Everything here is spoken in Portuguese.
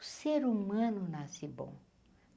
O ser humano nasce bom.